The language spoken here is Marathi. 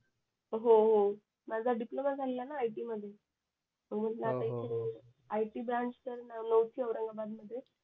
हो हो माझा डिप्लोमा झालेला न IT मध्ये मग म्हणल इकडे IT ब्रांच तर नव्हती इथं औरंगाबाद मध्ये